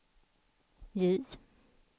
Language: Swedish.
J